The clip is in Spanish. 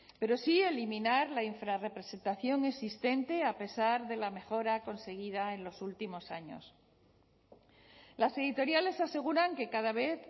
pero sí eliminar la infrarrepresentación existente a pesar de la mejora conseguida en los últimos años las editoriales aseguran que cada vez